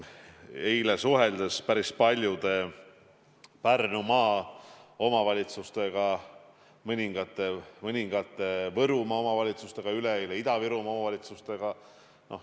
Eile ma suhtlesin päris paljude Pärnumaa omavalitsustega ja mõningate Võrumaa omavalitsustega, üleeile Ida-Virumaa omavalitsustega.